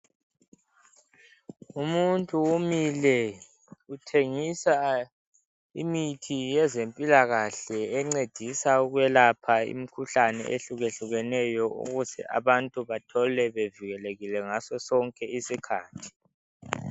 Umuntu umile uthengisa imithi yezempilakahle encedisa ukwelapha imikhuhlane ehluke hlukeneyo ukuze abantu bathole bevikelekile ngasosonke isikhathi.